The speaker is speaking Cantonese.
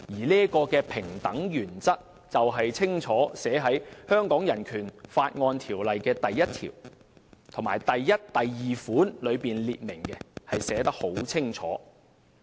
這個平等原則已在香港人權法案中第一條的第一及二款清楚列明，寫得十分清楚。